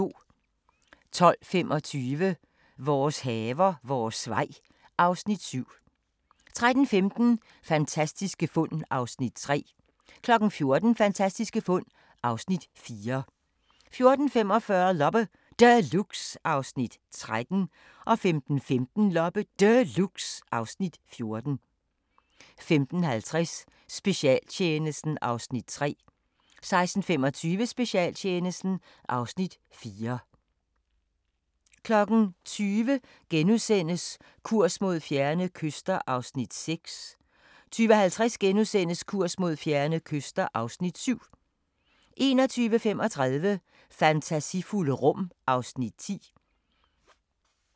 12:25: Vores haver, vores vej (Afs. 7) 13:15: Fantastiske fund (Afs. 3) 14:00: Fantastiske fund (Afs. 4) 14:45: Loppe Deluxe (Afs. 13) 15:15: Loppe Deluxe (Afs. 14) 15:50: Specialtjenesten (Afs. 3) 16:25: Specialtjenesten (Afs. 4) 20:00: Kurs mod fjerne kyster (Afs. 6)* 20:50: Kurs mod fjerne kyster (Afs. 7)* 21:35: Fantasifulde rum (Afs. 10)